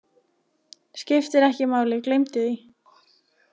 Skiptir ekki máli, gleymdu því.